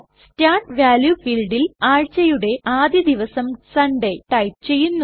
start value ഫീൽഡിൽ ആഴ്ചയുടെ ആദ്യ ദിവസം സൺഡേ ടൈപ് ചെയ്യുന്നു